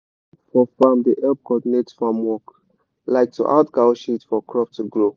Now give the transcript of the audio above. song for farm da help cordinate farm work like to add cow shit for crop to grow